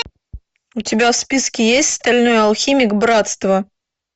у тебя в списке есть стальной алхимик братство